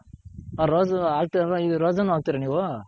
ಆ ರೋಸು ಹಾಕ್ತಿವ್ ಅಲ್ವ ಇನ್ Rose ನು ಹಾಕ್ತಿರ ನೀವು.